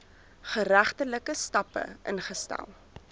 geregtelike stappe ingestel